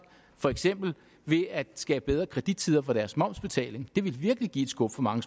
for eksempel ved at skabe bedre kredittider for deres momsbetaling det ville virkelig give et skub for mange